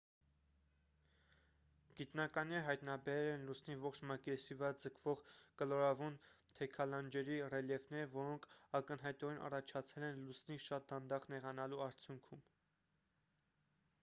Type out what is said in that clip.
գիտնականները հայտնաբերել են լուսնի ողջ մակերեսի վրա ձգվող կլորավուն թեքալանջերի ռելիեֆներ որոնք ակնհայտորեն առաջացել են լուսնի շատ դանդաղ նեղանալու արդյունքում